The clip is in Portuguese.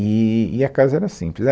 E, e a casa era simples, era